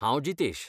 हांव जितेश.